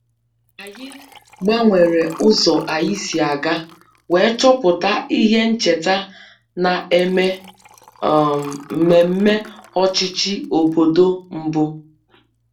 Anyị gbanwere ụzọ anyị si aga wee chọpụta ihe ncheta na-eme um mmemme ọchịchị obodo mbụ